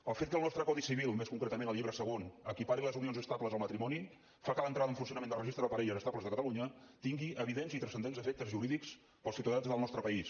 el fet que el nostre codi civil més concretament el llibre segon equipari les unions estables al matrimoni fa que l’entrada en funcionament del registre de parelles estables de catalunya tingui evidents i transcendents efectes jurídics per als ciutadans del nostre país